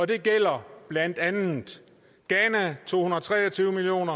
det gælder blandt andet ghana to hundrede og tre og tyve million